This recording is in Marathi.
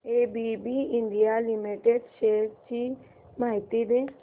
एबीबी इंडिया लिमिटेड शेअर्स ची माहिती दे